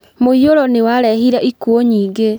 Mũiyũro nĩ warehire ikuũ nyingĩ.